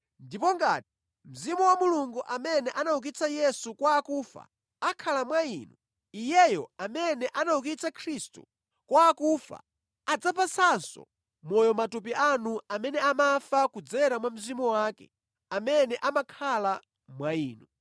Ndipo ngati Mzimu wa Mulungu amene anaukitsa Yesu kwa akufa akhala mwa inu, Iyeyo amene anaukitsa Khristu kwa akufa adzapatsanso moyo matupi anu amene amafa kudzera mwa Mzimu wake amene amakhala mwa inu.